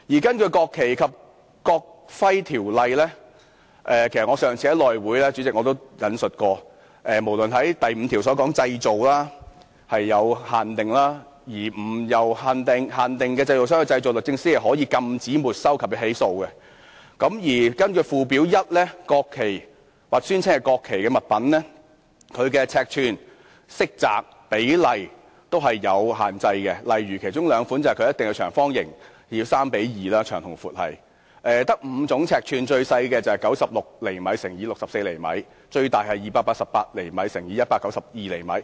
根據《國旗及國徽條例》——主席，其實我上次在內務委員會會議上也引述過——第5條"國旗、國徽的製造受規管"，如果並非由限定的製造商製造，律政司可禁止、沒收及起訴；而根據附表 1， 國旗或宣稱為國旗的物品，其尺寸、色澤及比例均有限制，例如其中兩款一定要為長方形，其長與高為三與二之比；此外，只有5種尺寸，最小的是96厘米乘64厘米；最大是288厘米乘192厘米。